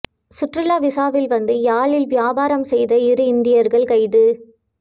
சுற்றுலா விசாவில் வந்து யாழில் வியாபாரம் செய்த இரு இந்தியர்கள் கைது